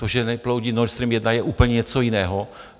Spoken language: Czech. To, že neproudí Nord Stream I, je úplně něco jiného.